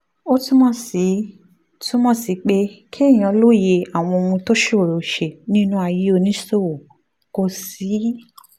ó túmọ̀ sí túmọ̀ sí pé kéèyàn lóye àwọn ohun tó ṣòroó ṣe nínú ayé oníṣòwò kó sì